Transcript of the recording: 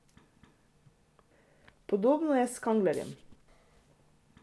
Podobno je s Kanglerjem.